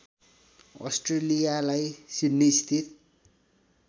अस्ट्रेलियालाई Sydney स्थित